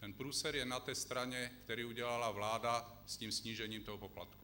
Ten průser je na té straně, který udělala vláda s tím snížením toho poplatku.